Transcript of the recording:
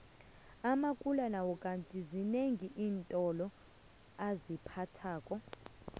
amakula nawo kandi zinengi iintolo aziphathako